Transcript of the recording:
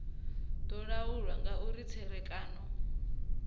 do laulwa nga uri tserekano